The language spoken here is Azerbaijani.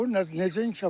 O necə inkişaf eləsin?